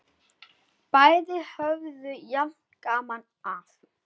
Bæði höfðu jafn gaman af!